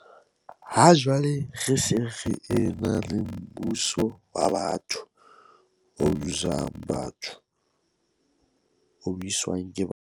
Ha jwale re se re ena le mmuso wa batho, o busang batho, o buswang ke batho.